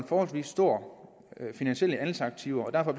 forholdsvis store finansielle anlægsaktiver og derfor